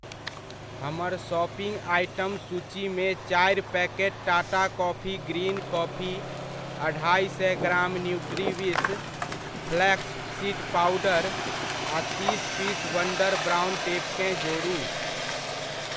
हमर shopping item सूचीमे चारि packet Tata coffee green coffee, अढ़ाए सए gram Nutriwish, flax seed powder आ तीस पीस वंडर ब्राउन टेपकेँ जोड़ू।